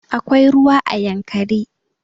Akwai ruwa a yankari